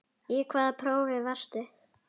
Í hvaða prófi varstu?